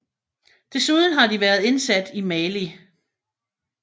Desuden har de været indsat i Mali